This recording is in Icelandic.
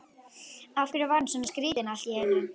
Af hverju var hann svona skrýtinn allt í einu?